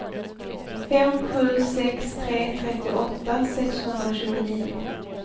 fem sju sex tre trettioåtta sexhundratjugonio